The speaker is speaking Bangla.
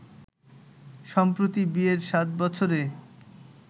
সম্প্রতি বিয়ের সাত বছরে